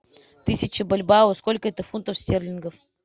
тысяча бальбоа сколько это фунтов стерлингов